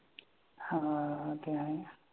हां ते आहे ना.